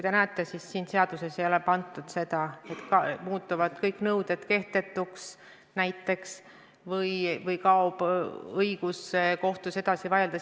Selles eelnõus ei ole kirja pandud, et kõik nõuded muutuvad kehtetuks näiteks või kaob õigus kohtus edasi vaielda.